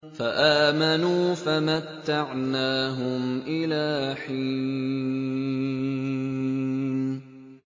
فَآمَنُوا فَمَتَّعْنَاهُمْ إِلَىٰ حِينٍ